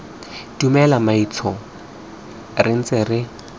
dumela mmaetsho re ntse re